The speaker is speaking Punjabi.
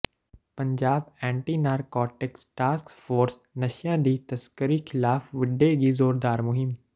Punjab anti narcotic task force ਨਸ਼ਿਆਂ ਦੀ ਤਸਕਰੀ ਖਿਲਾਫ਼ ਵਿੱਢੇਗੀ ਜ਼ੋਰਦਾਰ ਮੁਹਿੰਮ